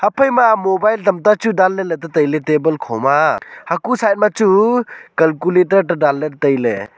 ephai ma mobile tamta chu danle le danla tataile table kho ma hacho side ma chu calculator tadanle taile.